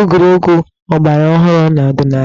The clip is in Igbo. egwuregwu ọgbaraọhụrụ na ọdịnaala.